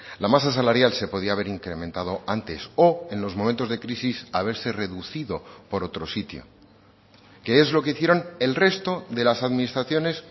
la masa salarial se podía haber incrementado antes o en los momentos de crisis haberse reducido por otro sitio que es lo que hicieron el resto de las administraciones